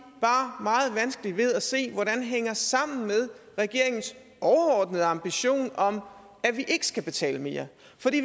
bare meget vanskeligt ved at se hvordan hænger sammen med regeringens overordnede ambition om at vi ikke skal betale mere